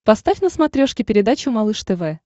поставь на смотрешке передачу малыш тв